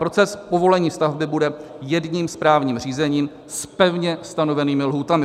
Proces povolení stavby bude jedním správním řízením s pevně stanovenými lhůtami.